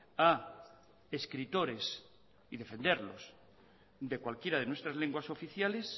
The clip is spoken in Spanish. a escritores y defenderlos de cualquiera de nuestras lenguas oficiales